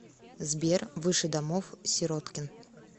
сбер выше домов сироткин